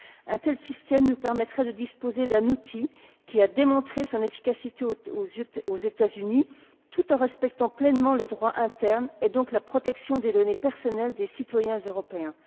Un tel système nous permettrait de disposer d'un outil, qui a démontré son efficacité aux États Unis tout en respectant pleinement le droit interne, et donc la protection des données personnelles des citoyens européens.